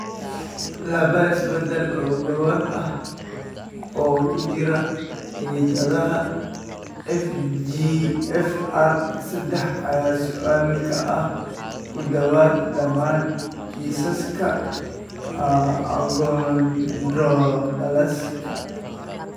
Laba isbeddel oo gaar ah oo ku jira hiddaha FGFR sedaax ayaa mas'uul ka ah ku dhawaad ​​dhammaan kiisaska achondroplasiga.